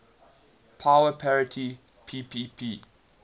power parity ppp